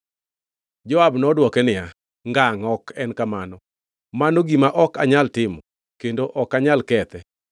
Joab nodwoke niya, “Ngangʼ, ok en kamano! Mano gima ok anyal timo kendo ok anyal kethe!